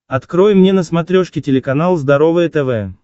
открой мне на смотрешке телеканал здоровое тв